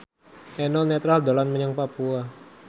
Eno Netral dolan menyang Papua